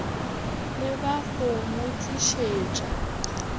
le ba go mo tlišetša